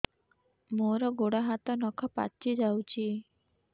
ମୋର ଗୋଡ଼ ହାତ ନଖ ପାଚି ଯାଉଛି